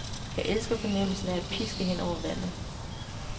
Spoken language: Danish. Jeg elsker fornemmelsen af at piske hen over vandet.